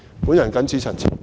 我謹此陳辭。